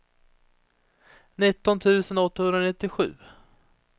nitton tusen åttahundranittiosju